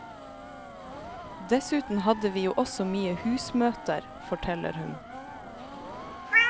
Dessuten hadde vi jo også mye husmøter, forteller hun.